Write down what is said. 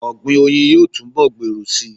Ọ̀gbìn oyin yóò túnbọ̀ gbèrú síi.